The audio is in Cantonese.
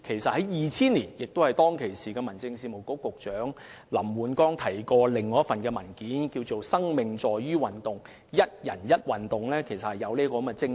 在2000年，時任民政事務局局長林煥光提到另一份名為"生命在於運動"的文件，而"一人一運動"其實正正是基於這種精神。